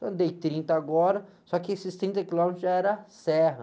Eu andei trinta agora, só que esses trinta quilômetros já era serra.